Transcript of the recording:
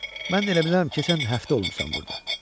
Mən də elə bilirəm keçən həftə olmusan burda."